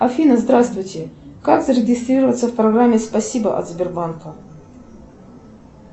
афина здравствуйте как зарегистрироваться в программе спасибо от сбербанка